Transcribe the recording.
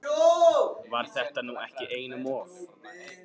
Var þetta nú ekki einum of?